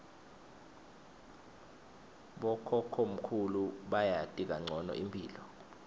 bokhokhomkhulu bayati kancono imphilo